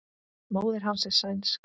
Móðir hans er sænsk.